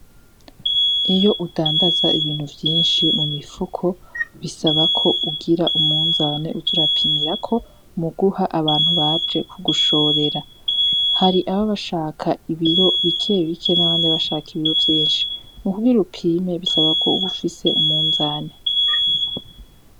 Iyo udandaza ibintu vyinshi mu mifuko bisaba ko ugira umunzane uz'urapimirako mu guha abantu baba baje kugushorera. Hari ababa bashaka ibiro bikebike n'abandi baba bashaka ibiro vyinshi , mukugira upime bisaba ko uba ufise umunzane.